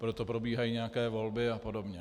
Proto probíhají nějaké volby a podobně.